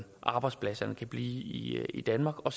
at arbejdspladserne kan blive i i danmark og